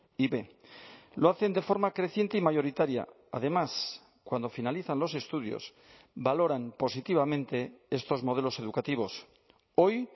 y b lo hacen de forma creciente y mayoritaria además cuando finalizan los estudios valoran positivamente estos modelos educativos hoy